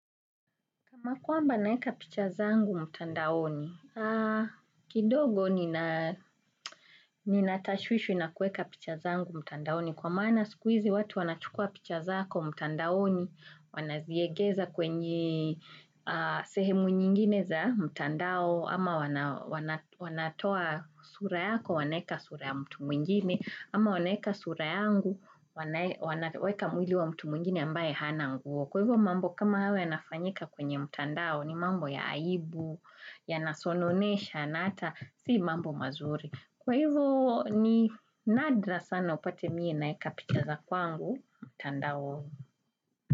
Kama kuamba naeka picha zangu mtandaoni, kidogo Ninatashwishi na kueka picha zangu mtandaoni. Kwa maana sikuizi watu wanachukua picha zako mtandaoni, wanaziegeza kwenye sehemu nyingine za mtandao, ama wanatoa sura yako, wanaeka sura ya mtu mwingine, ama wanaeka sura yangu, wanaeka mwili wa mtu mwingine ambaye hana nguo. Kwa hivyo mambo kama hayo yanafanyika kwenye mtandao ni mambo ya aibu, yanasononesha na hata si mambo mazuri. Kwa hivyo ni, nadra sana upate mie naika picha za kwangu mtandao.